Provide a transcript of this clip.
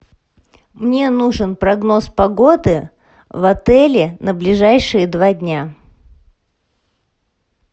мне нужен прогноз погоды в отеле на ближайшие два дня